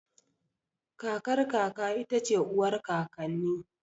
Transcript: Kakar kaka ita ce uwar kakanni